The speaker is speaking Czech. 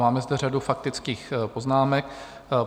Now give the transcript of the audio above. Máme zde řadu faktických poznámek.